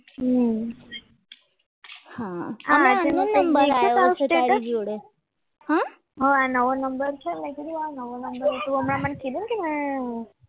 હમ હા હા નવો નંબર છે ને આ નવો નંબર તો હમણાં કીધું ને કે